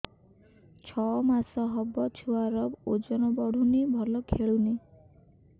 ଛଅ ମାସ ହବ ଛୁଆର ଓଜନ ବଢୁନି ଭଲ ଖେଳୁନି